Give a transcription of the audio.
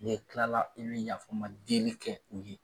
Ni tila la, i bɛ yafama deli kɛ u ye!